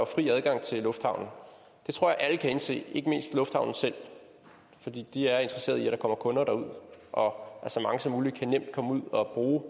fri adgang til lufthavne det tror jeg alle kan indse ikke mindst lufthavnene selv fordi de er interesseret i at der kommer kunder og at så mange som muligt nemt kan komme ud og bruge